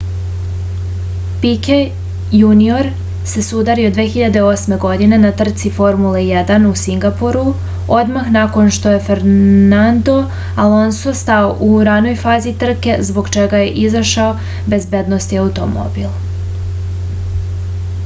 pike junior se sudario 2008. godine na trci formule 1 u singapuru odmah nakon što je fernadno alonso stao u ranoj fazi trke zbog čega je izašao bezbednosni automobil